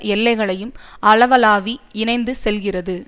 எல்லைகளையும் அளாவி இணைத்து செல்கிறது